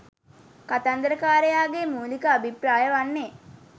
කතන්දරකාරයාගේ මූලික අභිප්‍රාය වන්නේ